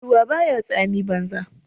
Ruwa baya tsami banza.